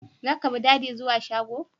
Zaka bi Dady zuwa shago?